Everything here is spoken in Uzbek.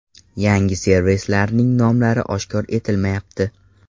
Yangi servislarning nomlari oshkor etilmayapti.